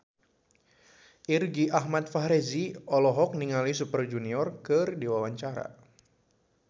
Irgi Ahmad Fahrezi olohok ningali Super Junior keur diwawancara